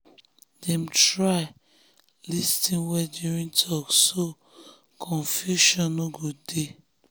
dem try lis ten well during talk so confusion so confusion no go dey.